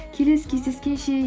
келесі кездескенше